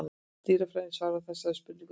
Dýrafræðin svarar þessari spurningu neitandi.